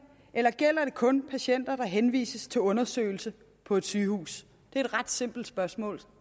eller gælder det kun patienter der henvises til undersøgelse på et sygehus det er et ret simpelt spørgsmål